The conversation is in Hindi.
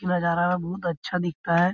उ नज़ारा बहुत अच्छा दिखता है।